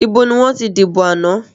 Ìbò ni wọ́n ti dìbò àná?